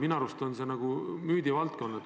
Minu arust on see nagu müüdivaldkond.